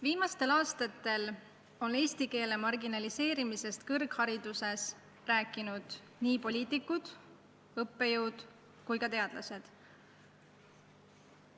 Viimastel aastatel on eesti keele marginaliseerimisest kõrghariduses rääkinud nii poliitikud, õppejõud kui ka teadlased.